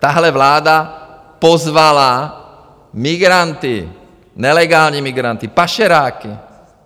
Tahle vláda pozvala migranty, nelegální migranty, pašeráky.